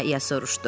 İya İya soruşdu.